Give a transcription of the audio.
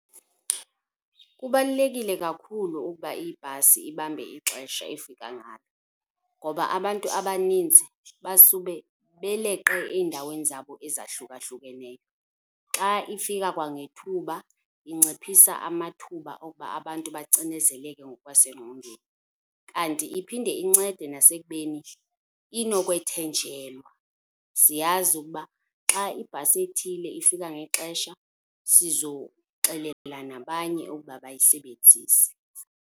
Kubalulekile kakhulu ukuba ibhasi ibambe ixesha efika ngalo ngoba abantu abaninzi basuke beleqe eendaweni zabo ezahlukahlukeneyo. Xa ifika kwangethuba inciphisa amathuba okuba abantu bacinezeleke ngokwasengqondweni kanti iphinde incede nasekubeni inokwethenjelwa. Siyazi ukuba xa ibhasi ethile ifika ngexesha sizoxelela nabanye ukuba bayisebenzise.